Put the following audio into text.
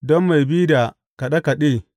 Don mai bi da kaɗe kaɗe.